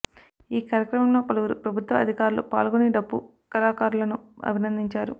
ఈ కార్యక్రమంలో పలువురు ప్రభుత్వ అధికారులు పాల్గొని డప్పు కళాకారులను అభినందించారు